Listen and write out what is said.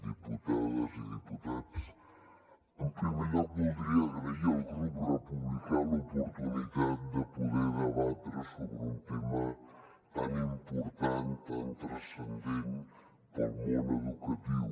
diputades i diputats en primer lloc voldria agrair al grup republicà l’oportunitat de poder debatre sobre un tema tan important tan transcendent per al món educatiu